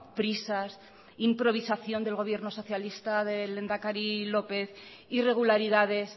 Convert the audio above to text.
prisas improvisación del gobierno socialista del lehendakari lópez irregularidades